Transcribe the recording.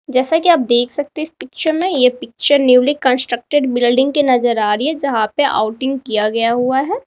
जैसा कि आप देख सकते इस पिक्चर में ये पिक्चर न्यूली कंस्ट्रक्टेड बिल्डिंग की नजर आ रही है यहां पे आउटिंग किया गया हुआ है।